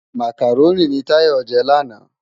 Mákáróni ni Tayo jè làná